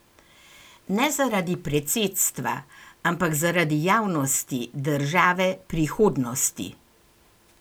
Ne zaradi predsedstva, ampak zaradi javnosti, države, prihodnosti.